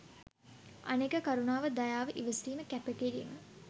අනෙක කරුණාව දයාව ඉවසීම කැප කිරීම